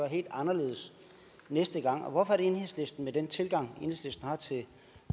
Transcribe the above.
helt anderledes næste gang og hvorfor at enhedslisten med den tilgang enhedslisten har til